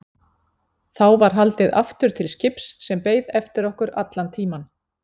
Þá var haldið aftur til skips sem beið eftir okkur allan tímann.